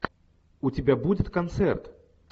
у тебя будет концерт